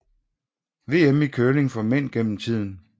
VM i curling for mænd gennem tiden